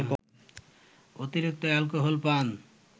অতিরিক্ত অ্যালকোহল পান